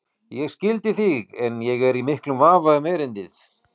Ég skildi þig en ég er í miklum vafa um erindið.